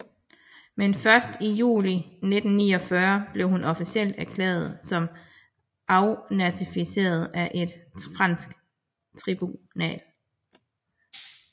Men først i juli 1949 blev hun officielt erklæret som afnazifiseret af et fransk tribunal